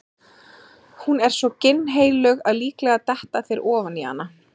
Hún er svo ginnheilög að líklega detta þeir ofan í hana.